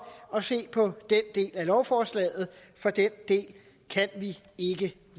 at se på den del af lovforslaget for den del kan vi ikke